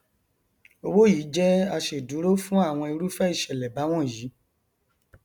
owó yìí jẹ aṣèdúró fún àwọn irúfẹ ìṣẹlẹ báwọnyí